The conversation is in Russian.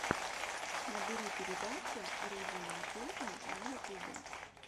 набери передача руди манкузо на ютубе